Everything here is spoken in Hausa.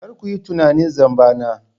Kar ku yi tunanin zamba na.